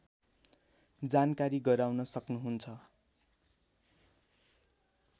जानकारी गराउन सक्नुहुन्छ